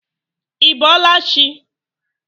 Í bọọla chị?